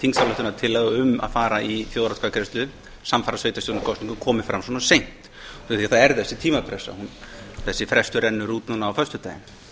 þingsályktunartillaga um að fara í þjóðaratkvæðagreiðslu samfara sveitarstjórnarkosningum komi fram svona seint út af því að það er þessi tímapressa þessi frestur rennur út núna á föstudaginn